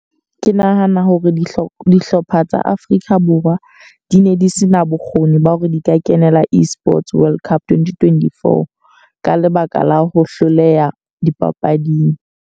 Ke nahana hore dihlopha dihlopha tsa Afrika Borwa di ne di se na bokgoni ba hore di ka kenela e-Sports World Cup twenty-twenty-four. Ka lebaka la ho hloleha dipapading.